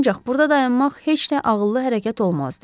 Ancaq burda dayanmaq heç də ağıllı hərəkət olmazdı.